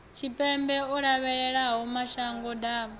tshipembe o lovhelaho mashango ḓavha